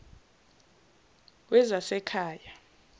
wezasekhaya